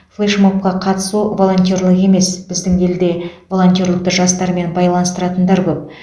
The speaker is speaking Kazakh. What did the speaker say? флеш мобқа қатысу волонтерлік емес біздің елде волонтерлікті жастармен байланыстыратындар көп